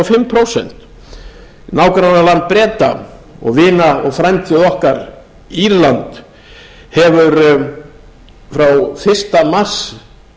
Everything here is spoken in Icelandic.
prósent og upp í tuttugu og fimm prósent nágrannaland breta og vinir og frændur okkar írland hefur frá fyrsta mars